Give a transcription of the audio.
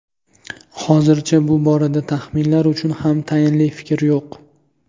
Hozircha bu borada taxminlar uchun ham tayinli fikr yo‘q.